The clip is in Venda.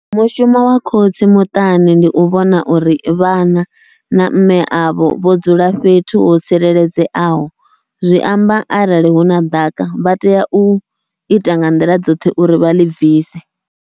Mushumo wa khotsi muṱani ndi u vhona uri vhana na mme avho vho dzula fhethu ho tsireledzeaho, zwi amba arali huna ḓaka vha tea uita nga nḓila dzoṱhe uri vha ḽi bvise.